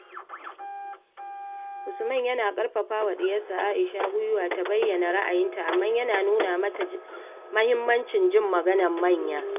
Usman yana ƙarfafa wa diyarsa Aisha gwiwa ta bayyana ra'ayinta, amma ya nuna mata muhimmancin jin maganar manya.